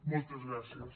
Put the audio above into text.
moltes gràcies